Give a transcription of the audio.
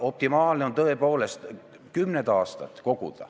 Optimaalne on tõepoolest koguda kümneid aastaid.